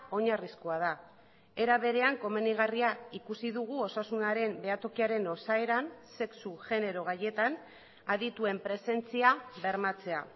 oinarrizkoa da era berean komenigarria ikusi dugu osasunaren behatokiaren osaeran sexu genero gaietan adituen presentzia bermatzea